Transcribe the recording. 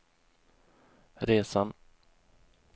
resan